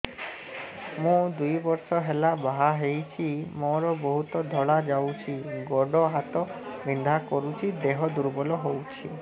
ମୁ ଦୁଇ ବର୍ଷ ହେଲା ବାହା ହେଇଛି ମୋର ବହୁତ ଧଳା ଯାଉଛି ଗୋଡ଼ ହାତ ବିନ୍ଧା କରୁଛି ଦେହ ଦୁର୍ବଳ ହଉଛି